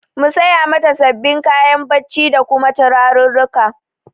Mu saya mata sabin kayan bacci da kuma turarurruka